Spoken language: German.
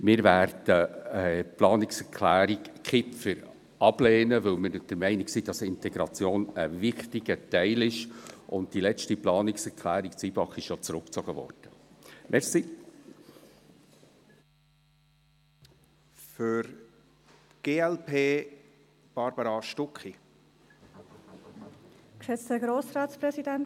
Die Planungserklärung Kipfer werden wir ablehnen, weil wir der Meinung sind, dass Integration ein wichtiger Teil ist, und die Planungserklärung Zybach wurde ja zurückgezogen.